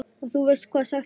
Og þú veist hvað sagt er?